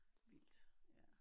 Vildt ja